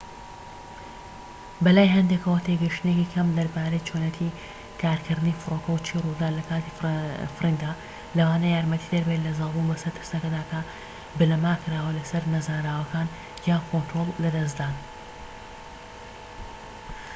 بەلای هەندێكەوە تێگەشتنێکی کەم دەربارەی چۆنیەتی کارکردنی فڕۆکە و چی ڕوودەدات لە کاتی فڕیندا لەوانەیە یارمەتیدەربێت لە زاڵبوون بەسەر ترسەکەدا کە بنەما کراوە لەسەر نەزانراوەکان یان کۆنترۆڵ لەدەستدان